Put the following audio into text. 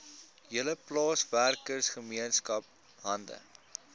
hele plaaswerkergemeenskap hande